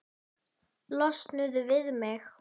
Losnuðu við mig!